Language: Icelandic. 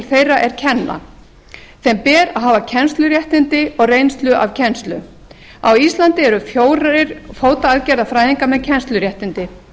þeirra er kenna sem ber að hafa kennsluréttindi og reynslu af kenna á íslandi eru fjögur fótaaðgerðafræðingar með kennsluréttindi